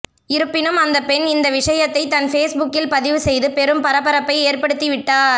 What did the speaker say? இருப்பினும் அந்த பெண் இந்த விஷயத்தை தன் ஃபேஸ்புக்கில் பதிவு செய்து பெரும் பரபரப்பை ஏற்படுத்திவிட்டார்